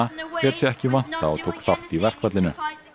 lét sig ekki vanta og tók þátt í verkfallinu